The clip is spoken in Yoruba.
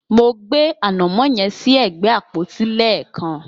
Mo gbé ànàmọ́ yẹn sí ẹ̀gbẹ́ àpótí lẹ́ẹ̀kan.